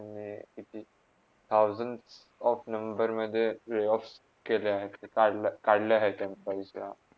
त्यांनी कित्ती thousands of नमबर्समधे layoff केले आहेत, काढला - काढल्या आहेत. त्यांनी